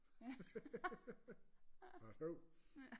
Atju